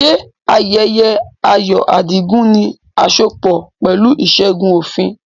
Ṣé ayẹyẹ ayọ̀ Adigun ní asopọ̀ pẹ̀lú ìṣẹ́gun òfin?